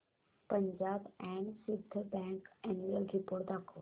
Punjab and Sind bank annual report दाखव